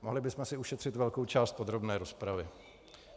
Mohli bychom si ušetřit velkou část podrobné rozpravy.